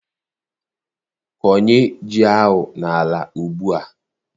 Kọnye ji ahụ n'ala Ugbua!